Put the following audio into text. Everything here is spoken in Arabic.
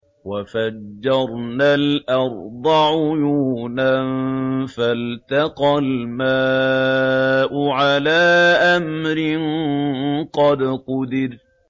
وَفَجَّرْنَا الْأَرْضَ عُيُونًا فَالْتَقَى الْمَاءُ عَلَىٰ أَمْرٍ قَدْ قُدِرَ